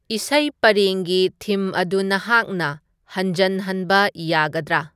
ꯏꯁꯩ ꯄꯔꯦꯡꯒꯤ ꯊꯤꯝ ꯑꯗꯨ ꯅꯍꯥꯛꯅ ꯍꯟꯖꯟꯍꯟꯕ ꯌꯥꯒꯗꯔ